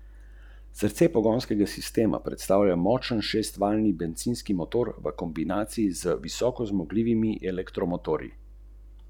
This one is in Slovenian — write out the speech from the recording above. Ste preigravali različne možnosti, kako bi glavni lik lahko odreagiral?